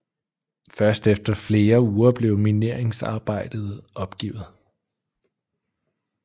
Først efter flere uger blev mineringsarbejdet opgivet